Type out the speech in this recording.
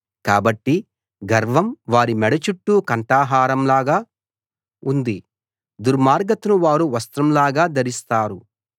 కాబట్టి గర్వం వారి మెడ చుట్టూ కంఠహారం లాగా ఉంది దుర్మార్గతను వారు వస్త్రంలాగా ధరిస్తారు